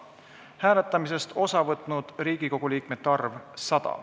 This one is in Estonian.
Hääletamisest osa võtnud Riigikogu liikmete arv – 100.